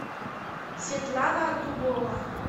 светлана дубова